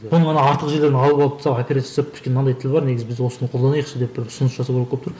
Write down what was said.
бұның ана артық жерлерін алып алып тастап операция жасап мынандай тіл бар негізі біз осыны қолданайықшы деп бір ұсыныс жасау керек болып тұр